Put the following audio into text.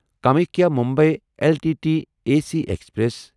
Kamakhya Mumbai L T T A C express